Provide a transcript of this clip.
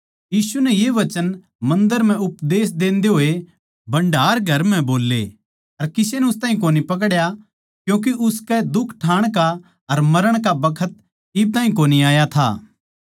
यीशु नै ये वचन मन्दर म्ह उपदेश देन्दे होए भण्डार घर म्ह बोल्ली अर किसे नै उस ताहीं कोनी पकड्या क्यूँके उसके दुख ठाण का अर मरण का बखत इब ताहीं कोनी आया था